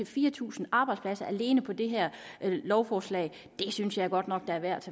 fire tusind arbejdspladser alene på det her lovforslag det synes jeg godt nok er værd